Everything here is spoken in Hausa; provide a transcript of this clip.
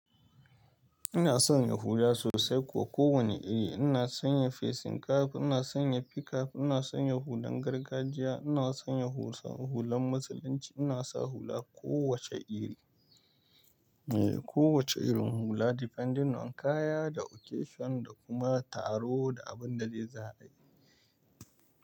Ina son yin hula sosai kuwa kowanne iri. Ina son yin facing cap, ina son yin pickup, ina son yin hulan gargajiya, ina son yin hulan Musulunci, ina sa hula kowacce iri. Eh, kowace irin hula depending on kaya da occasion da kuma taro da abin da zai sa ayi.